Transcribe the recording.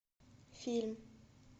фильм